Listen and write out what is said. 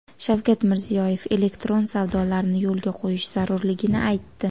Shavkat Mirziyoyev elektron savdolarni yo‘lga qo‘yish zarurligini aytdi.